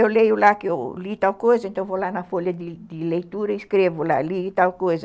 Eu leio lá que eu li tal coisa, então eu vou lá na folha de de leitura e escrevo lá, li tal coisa.